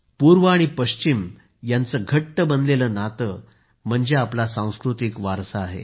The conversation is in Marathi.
पूर्व आणि पश्चिम यांचं घट्ट बनलेलं नातं म्हणजे आपला संस्कृती वारसा आहे